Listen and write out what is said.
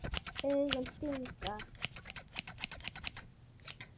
Augun stinga.